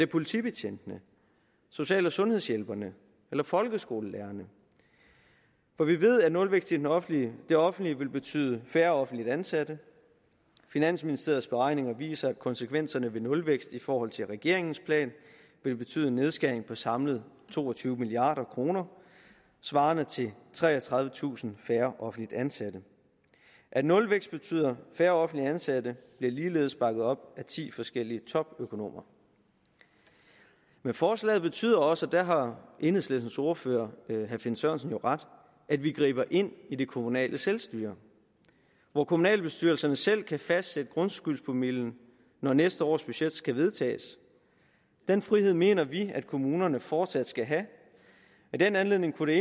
politibetjentene social og sundhedshjælperne eller folkeskolelærerne for vi ved at nulvækst i det offentlige det offentlige vil betyde færre offentligt ansatte finansministeriets beregninger viser at konsekvenserne ved nulvækst i forhold til regeringens plan vil betyde en nedskæring på samlet to og tyve milliard kroner svarende til treogtredivetusind færre offentligt ansatte at nulvækst betyder færre offentligt ansatte bliver ligeledes bakket op af ti forskellige topøkonomer men forslaget betyder også og der har enhedslistens ordfører herre finn sørensen jo ret at vi griber ind i det kommunale selvstyre hvor kommunalbestyrelserne selv kan fastsætte grundskyldspromillen når næste års budget skal vedtages den frihed mener vi at kommunerne fortsat skal have i den anledning kunne